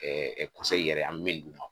Ɛɛ yɛrɛ an be min d'u ma.